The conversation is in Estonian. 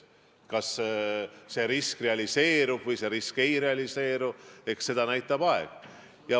Kas see risk realiseerub või see risk ei realiseeru, seda näitab aeg.